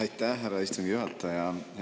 Aitäh, härra istungi juhataja!